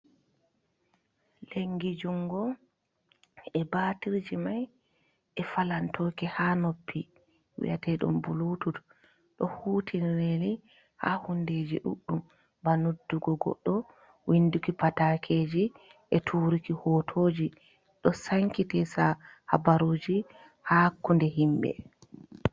Lenngi junngo e baatirji may e falantooki haa noppi wi'eteeɗum "buluutud". Ɗo huutiniree ni haa huunde ɗuuɗɗum, ba noddugo goɗɗo, winndugo pataakeeji e tuuruki hooto, ɗo "sankitisa" habaruuji haa hakkunde yimɓe.